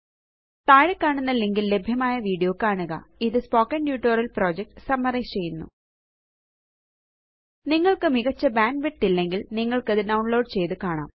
താഴെക്കാണുന്ന link ല് ലഭ്യമായ video കാണുക ഇതു സ്പോക്കൻ ട്യൂട്ടോറിയൽ പ്രൊജക്ട് സമ്മറൈസ് ചെയ്യുന്നു നിങ്ങള്ക്ക് മികച്ച ബാൻഡ്വിഡ്ത്ത് ഇല്ലെങ്കില് നിങ്ങള്ക്കത് ഡൌണ്ലോഡ് ചെയ്ത് കാണാം